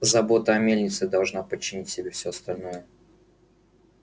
забота о мельнице должна подчинить себе все остальное